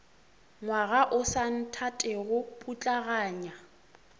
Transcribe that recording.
ngwaga o sa nthatego putlaganya